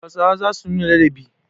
Hausawa za su nuna ladabi.